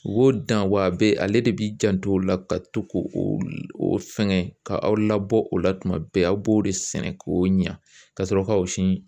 I b'o dan , wa a be ale de b'i janto o la , ka to k'o o fɛngɛ k'a labɔ o la tuma bɛɛ ,aw b'o de sɛnɛ k'o ɲa ka sɔrɔ ka o siɲɛn.